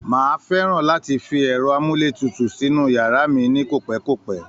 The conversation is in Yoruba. Máà fẹ́ràn láti fi ẹ̀rọ amúletutù sínú yàrá mí ní kopẹkopẹ